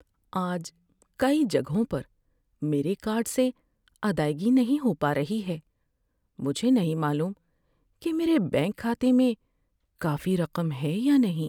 آج کئی جگہوں پر میرے کارڈ سے ادائیگی نہیں ہو پا رہی ہے۔ مجھے نہیں معلوم کہ میرے بینک کھاتے میں کافی رقم ہے یا نہیں۔